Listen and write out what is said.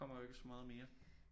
Kommer jo ikke så meget mere